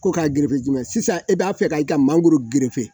Ko k'a gerefe jumɛn sisan i b'a fɛ ka i ka mangoro gerefe